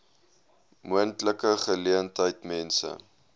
moontlike geleentheid mense